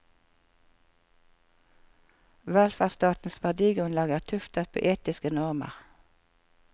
Velferdsstatens verdigrunnlag er tuftet på etiske normer.